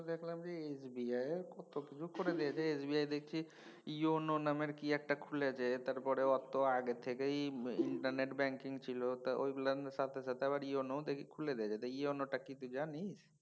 Account SBI কত কিছু করে দিয়েছে SBIEON নামের কি একটা খুলেছে তারপরে ওর তো আগে থেকেই ইন্টারনেট ব্যাঙ্কিং ছিল। তো অইগুলার সাথে সাথে এখন EON ও দেখি খুলে দিয়েছে। তা EON তা কিছু জানিস?